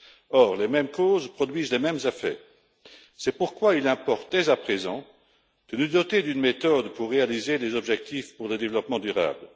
Or, les mêmes causes produisent les mêmes effets, c'est pourquoi il importe dès à présent de nous doter d'une méthode pour réaliser des objectifs pour le développement durable.